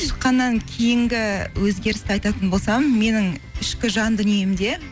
шыққаннан кейінгі өзгерісті айтатын болсам менің ішкі жан дүниемде